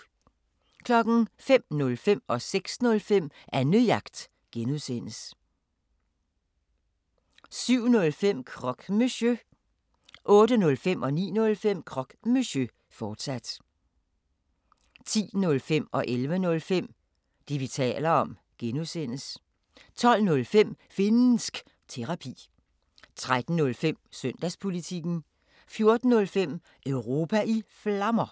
05:05: Annejagt (G) 06:05: Annejagt (G) 07:05: Croque Monsieur 08:05: Croque Monsieur, fortsat 09:05: Croque Monsieur, fortsat 10:05: Det, vi taler om (G) 11:05: Det, vi taler om (G) 12:05: Finnsk Terapi 13:05: Søndagspolitikken 14:05: Europa i Flammer